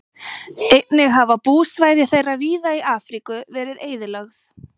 Einnig hafa búsvæði þeirra víða í Afríku verið eyðilögð.